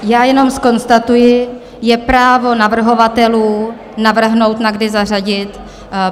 Já jenom zkonstatuji, je právo navrhovatelů navrhnout, na kdy zařadit.